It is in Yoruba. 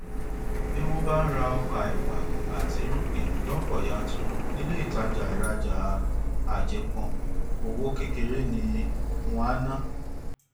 tí wọn bá ń ra ọkà ẹwà àti irúgbìn lọpọ yanturu ní ilé ìtajà ìràjà àjẹpọn owó kékeré ni wọn á ná